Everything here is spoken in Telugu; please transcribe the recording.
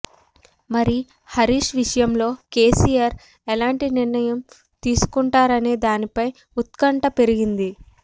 మరి హరీష్ విషయంలో కేసీఆర్ ఎలాంటి నిర్ణయం తీసుకుంటారనే దానిపై ఉత్కంఠ పెరిగింది